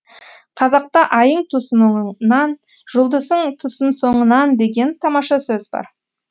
қазақта айың тусын оңынан жұлдызың тусын соңынан деген тамаша сөз бар